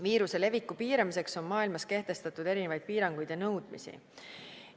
Viiruse leviku piiramiseks on maailmas kehtestatud erinevaid piiranguid ja nõudmisi.